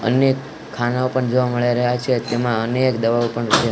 અનેક ખાનાઓ પણ જોવા મળી રહ્યા છે તેમાં અનેક દવાઓ પણ --